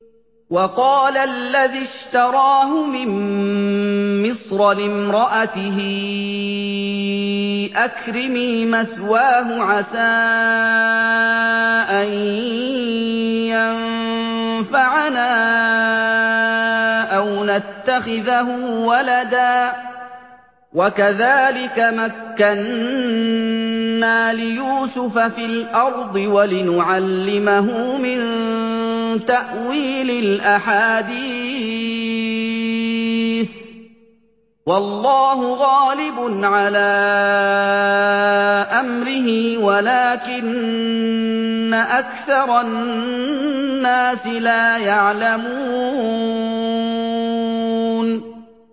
وَقَالَ الَّذِي اشْتَرَاهُ مِن مِّصْرَ لِامْرَأَتِهِ أَكْرِمِي مَثْوَاهُ عَسَىٰ أَن يَنفَعَنَا أَوْ نَتَّخِذَهُ وَلَدًا ۚ وَكَذَٰلِكَ مَكَّنَّا لِيُوسُفَ فِي الْأَرْضِ وَلِنُعَلِّمَهُ مِن تَأْوِيلِ الْأَحَادِيثِ ۚ وَاللَّهُ غَالِبٌ عَلَىٰ أَمْرِهِ وَلَٰكِنَّ أَكْثَرَ النَّاسِ لَا يَعْلَمُونَ